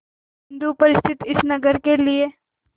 बिंदु पर स्थित इस नगर के लिए